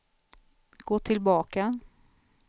gå tillbaka